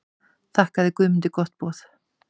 Þakkaði Guðmundur gott boð.